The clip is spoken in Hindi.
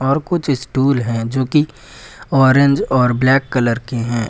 और कुछ स्टूल हैं जोकि ऑरेंज और ब्लैक कलर के हैं।